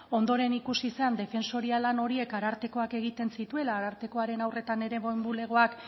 ondoren ikusi zen defensoria lan horiek arartekoak egiten zituela arartekoaren haur eta nerabeen bulegoak